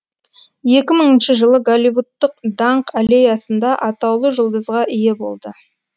екі мыңыншы жылы голливудтық даңқ аллеясында атаулы жұлдызға ие болды